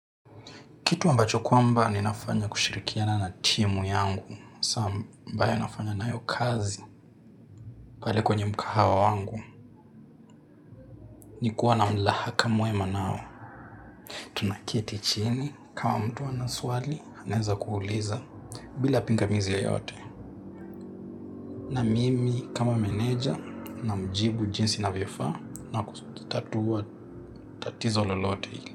Kitu ambacho kwamba ni nafanya kushirikiana na timu yangu. Sam ambaye anafanya na ayo kazi pale kwenye mkahawa wangu. Nikuwa na mlahaka mwema nao. Tunaketi chini kama mtu anaswali, naeza kuuliza bila pinga mizi yeyote. Na mimi kama meneja na mjibu jinsi ina vyo faa na kutatua tatizo lolote.